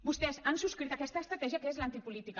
vostès han subscrit aquesta estratègia que és l’antipolítica